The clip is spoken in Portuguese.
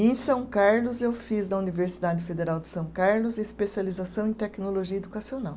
E em São Carlos eu fiz na Universidade Federal de São Carlos especialização em tecnologia educacional.